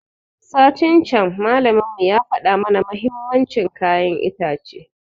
Satin can malamin mu ya faɗa mana muhimmancin kayan itace